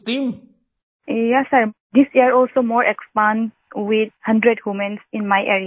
Vijayashanti ji yes sir this year also more expand with 100 women in my area